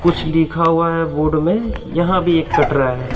कुछ लिखा हुआ है बोर्ड में यहां भी एक कटरा है।